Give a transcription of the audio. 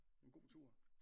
En god tur